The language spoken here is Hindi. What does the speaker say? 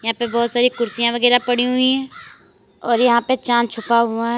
यहां पे बहोत सारी कुर्सियां वगैरा पड़ी हुई है और यहां पे चांद छुपा हुआ है।